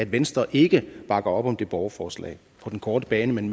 venstre ikke bakker op om det her borgerforslag på den korte bane men